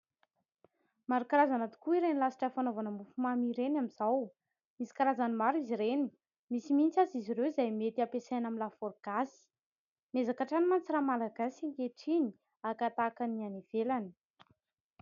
Maro karazana tokoa ireny lasitra fanaovana mofomamy ireny amin'izao. Misy karazany maro izy ireny misy mihitsy aza izy ireo izay mety ampesaina amin'ny lafôro gasy. Miezaka atrany manko ra malagasy ankehitriny haka-tahaka ny any ivelany.